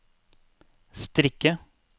strikke